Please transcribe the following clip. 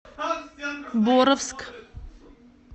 боровск